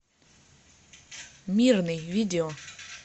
мирный видео